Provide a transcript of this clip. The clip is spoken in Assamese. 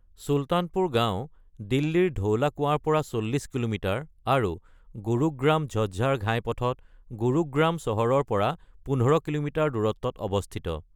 চুলতানপুৰ গাঁও দিল্লীৰ ধৌলা কুৱাৰ পৰা ৪০ কিলোমিটাৰ আৰু গুৰুগ্ৰাম-ঝজ্জাৰ ঘাইপথত গুৰুগ্ৰাম চহৰৰ পৰা ১৫ কিলোমিটাৰ দূৰত্বত অৱস্থিত।